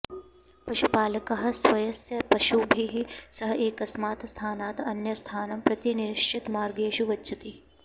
पशुपालकः स्वस्य पशुभिः सह एकस्मात् स्थानात् अन्यस्थानं प्रति निश्चितमार्गेषु गच्छति